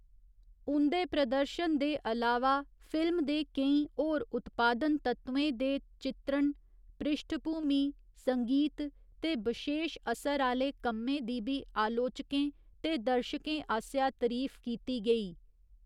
उं'दे प्रदर्शन दे अलावा, फिल्म दे केईं होर उत्पादन तत्वें ते चित्रण, पृश्ठभूमि संगीत ते बशेश असर आह्‌ले कम्में दी बी आलोचकें ते दर्शकें आसेआ तरीफ कीती गेई।